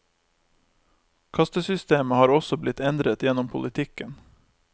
Kastesystemet har også blitt endret gjennom politikken.